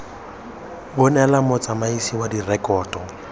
bo neelwa motsamaisi wa direkoto